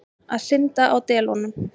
Að synda á delunum.